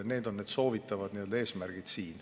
Need on eesmärgid, mida soovitakse saavutada.